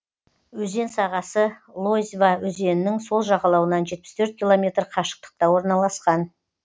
өзен сағасы лозьва өзенінің сол жағалауынан жетпіс төрт километр қашықтықта орналасқан